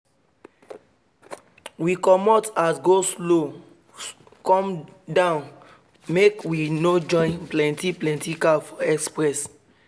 we comot as go-slow come down make we no join plenty plenty car for express